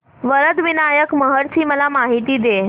वरद विनायक महड ची मला माहिती दे